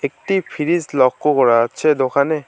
একটি ফ্রিজ লক্ষ্য করা যাচ্ছে দোকানে।